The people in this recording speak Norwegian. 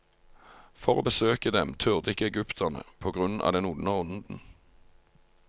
For å besøke dem turde ikke egypterne på grunn av den onde ånden.